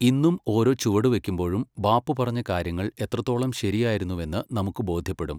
ഇന്നും ഓരോ ചുവടുവയ്ക്കുമ്പോഴും ബാപ്പു പറഞ്ഞ കാര്യങ്ങൾ എത്രത്തോളം ശരിയായിരുന്നുവെന്ന് നമുക്ക്‌ ബോധ്യപ്പെടും.